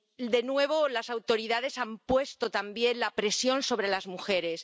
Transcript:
De nuevo, las autoridades han puesto también la presión sobre las mujeres.